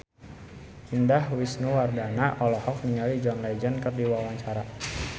Indah Wisnuwardana olohok ningali John Legend keur diwawancara